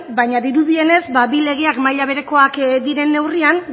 baina dirudienez bi legeak maila berekoak diren neurrian